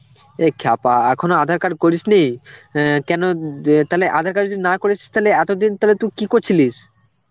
এ ক্ষ্যাপা, এখনো আধার কার্ড করিস নি? অ্যাঁ কেন উম তাহলে aadhar card যদি না করিস তালে এতদিন তালে তু কি করছিলিস?